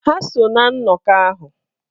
Ha so ná nnọkọ ahụ.